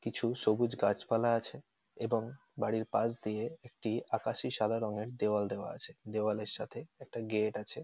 কিছু সবুজ গাছপালা আছে এবং বাড়ির পাশ দিয়ে একটি আকাশী সাদা রঙের দেওয়াল দেওয়া আছে। দেওয়ালের সাথে একটা গেট আছে।